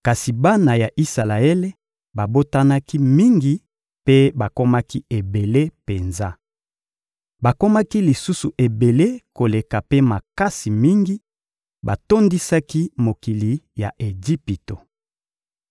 Kasi bana ya Isalaele babotanaki mingi mpe bakomaki ebele penza. Bakomaki lisusu ebele koleka mpe makasi mingi: batondisaki mokili ya Ejipito.